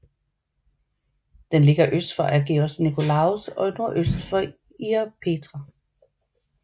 Den ligger øst for Agios Nikolaos og nordøst for Ierapetra